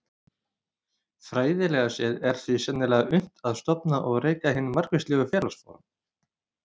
Fræðilega séð er því sennilega unnt að stofna og reka hin margvíslegu félagsform.